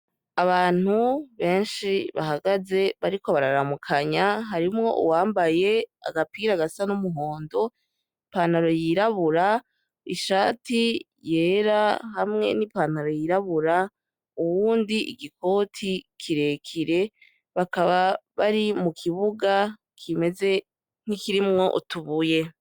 Abantu benshi bahagaze bariko bararamukanya harimwo uwambaye agapira agasa n'umuhondo ipantaro yirabura ishati yera hamwe n'ipantaro yirabura uwundi igikoti kirekire bakaba bari mu kibuga kimeze nk'ikirimwo utubuye.